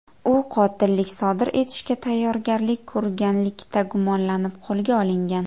U qotillik sodir etishga tayyorgarlik ko‘rganlikda gumonlanib qo‘lga olingan.